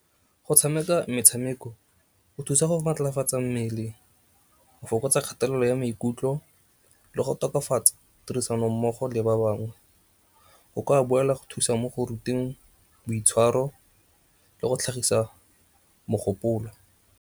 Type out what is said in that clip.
Go tshameka metshameko go thusa go matlafatsa mmele, go fokotsa kgatelelo ya maikutlo le go tokafatsa tirisanommogo le ba bangwe. Go kwa boela go thusa mo go ruteng boitshwaro le go tlhagisa mogopolo.